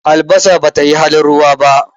Albasa ba tayi halin ruwa ba.